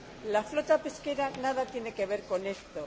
La flota pesquera nada tiene que ver con esto